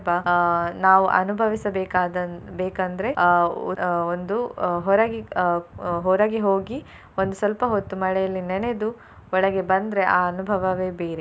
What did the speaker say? ಅಹ್ ನಾವು ಅನುಭವಿಸ ಬೇಕಾದಂ~ ಬೇಕಂದ್ರೆ ಅಹ್ ಒಂದು ಹೊರಗೆ ಅಹ್ ಅಹ್ ಹೊರಗೆ ಹೋಗಿ ಒಂದು ಸ್ವಲ್ಪ ಹೊತ್ತು ಮಳೆಯಲ್ಲಿ ನೆನೆದು ಒಳಗೆ ಬಂದ್ರೆ ಆ ಅನುಭವವೇ ಬೇರೆ.